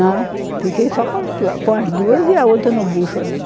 Não, fiquei só com as dua, com as duas e a outra no bucho ainda.